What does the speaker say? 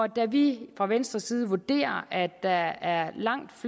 da vi fra venstres side vurderer at der er langt